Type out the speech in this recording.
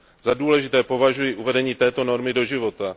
Za důležité považuji uvedení této normy do života.